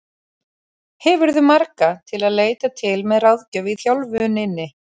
Hefurðu marga til að leita til með ráðgjöf í þjálfuninni?